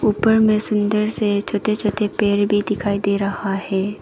ऊपर में सुंदर से छोटे छोटे पेड़ भी दिखाई दे रहा है।